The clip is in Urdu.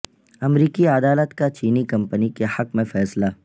امریکی عدالت کا چینی کمپنی کے حق میں فیصلہ